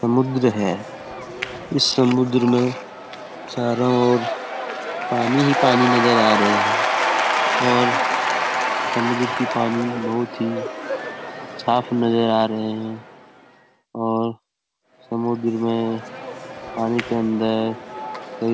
समुद्र है इस समुद्र में चारों और पानी ही अपनी नजर आ रहे हैं और समुद्र की पानी बहुत ही साफ नजर आ रहे हैं और समुद्र में पानी के अंदर --